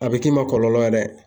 A bɛ k'i ma kɔlɔlɔ ye dɛ.